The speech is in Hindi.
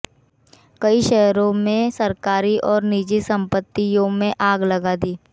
कई शहरों में सरकारी और निजी संपत्तियों में आग लगा दी